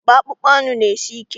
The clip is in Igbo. Akpa akpụkpọ anụ na-esi ike.